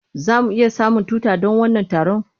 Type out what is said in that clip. Za mu iya samun tuta don wannan taron?